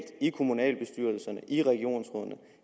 i kommunalbestyrelserne og i regionsrådene